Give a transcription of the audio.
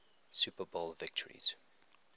super bowl victories